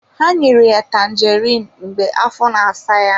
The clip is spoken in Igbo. Ha nyere ya Tanjeriin mgbe afọ na-asa ya.